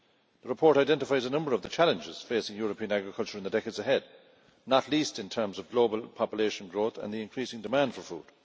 The report identifies a number of the challenges facing European agriculture in the decades ahead, not least in terms of global population growth and the increasing demand for food.